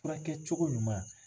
Furakɛ cogo ɲuman.